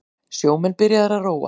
Sjómenn byrjaðir að róa